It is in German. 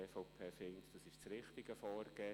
Die EVP findet, dies sei das richtige Vorgehen.